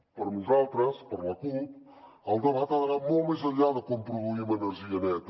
per nosaltres per la cup el debat ha d’anar molt més enllà de com pro duïm energia neta